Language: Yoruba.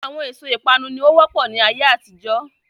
Àwọn èso ìpanu ni ó wọ́pọ̀ ni ayé àtijọ́